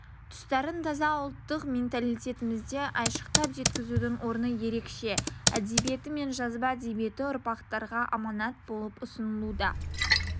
тұстарын таза ұлттық менталитетімізді айшықтап жеткізудің орны ерекше әдебиеті мен жазба әдебиеті ұрпақтарға аманат болып ұсынылуда